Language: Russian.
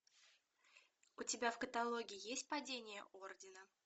у тебя в каталоге есть падение ордена